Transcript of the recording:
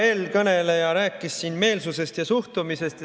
Eelkõneleja rääkis siin meelsusest ja suhtumisest.